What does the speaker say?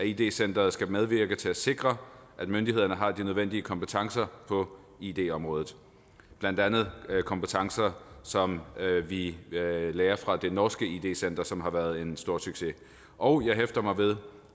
id center skal medvirke til at sikre at myndighederne har de nødvendige kompetencer på id området blandt andet kompetencer som vi lærer lærer fra det norske id center som har været en stor succes og jeg hæfter mig ved